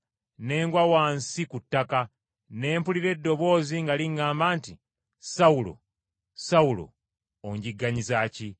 Ne ngwa wansi ku ttaka, ne mpulira eddoboozi nga liŋŋamba nti, ‘Sawulo, Sawulo, onjigganyiza ki?’